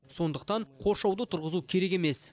сондықтан қоршауды тұрғызу керек емес